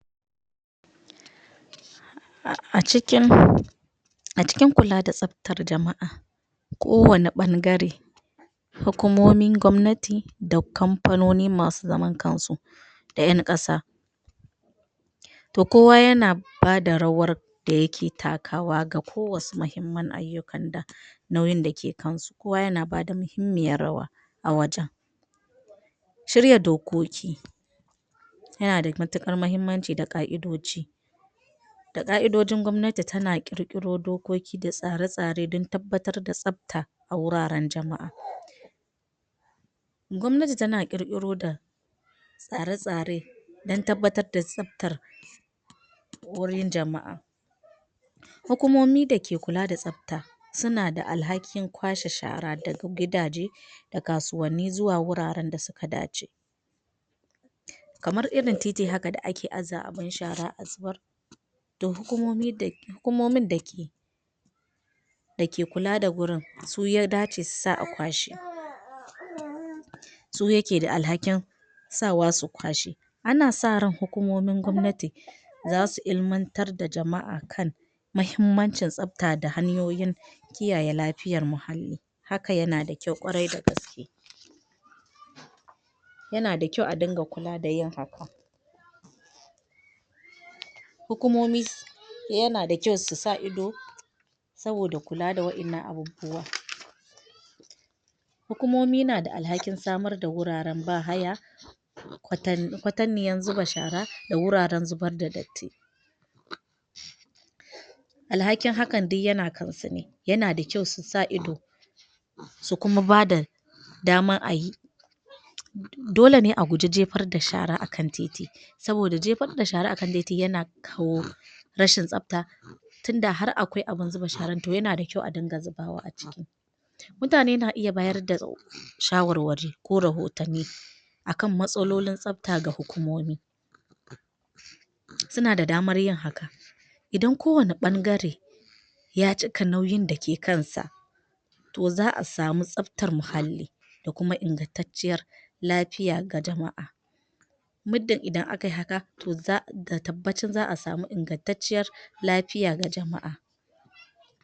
A cikin a cikin kula da tsaftar jama'a kowane ɓangare hukumomin gwamnati da kamfanoni masu zaman kansu da ƴan ƙasa to kowa yana ba da rawar da yake takawa ga kowasu muhimman ayyukan da nauyin da ke kansu, kowa yana ba da muhimmiyar rawa a wajen Shirya dokoki yana da matuƙar muhimmanci da ƙa'idoji da ƙa'idojin gwamnati tana ƙirƙiro dokoki da tsare-tsare don tabbatar da tsafta a wuraren jama'a Gwamnati tana ƙirƙiro da tsare-tsare don tabbatar da tsaftar wurin jama'a Hukumomi da ke kula da tsafta suna da alhakin kwashe shara daga gidaje da kasuwanni zuwa wuraren da suka dace kamar irin titi haka da ake aza abin shara a zubar da hukumomin da ke da ke kula da wurin--su ya dace su sa a kwashe su yake da alhakin sawa su kwashe. Ana sa ran hukumomin gwamnati za su ilimantar da jama'a kan muhimmancin tsafta da hanyoyin kiyaye lafiyar muhalli--haka yana da kyau, ƙwarai da gaske. Yana da kyau a dinga kula da yin haka Hukumomi yana da kyau su sa ido saboda kula da waɗannan abubuwa Hukumomi na da alhakin samar da wuraren ba-haya kwatanniyan zuba shara da wuraren zubar d adatti Alhakin hakan duk yana kansu ne--yana da kyau su sa ido su kuma ba da damar a yi Dole ne a guji jefar da shara a kan titi saboda jefar da shara a kan titi yana kawo rashin tsafta tunda har akwai abin zuba sharar to yana da kyau a dinga zubawa a ciki Mutane na iya bada shawarwari ko rahotanni a kan matsalolin tsafta ga hukumomi Suna da damar yin hakan idan kowane ɓangare ya cika nauyin da ke kansa to za a samu tsaftar muhalli da kuma ingantacciyar lafiya ga jama'a Muddin idan aka yi haka to da tabbacin za a samu ingantacciyar lafiya ga jama'a.